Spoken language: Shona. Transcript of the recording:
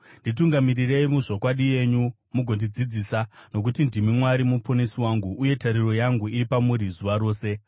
nditungamirirei muzvokwadi yenyu mugondidzidzisa, nokuti ndimi Mwari Muponesi wangu, uye tariro yangu iri pamuri zuva rose.